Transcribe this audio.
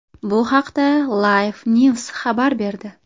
Bu haqda LifeNews xabar berdi .